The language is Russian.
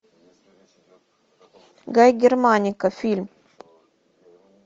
гай германика фильм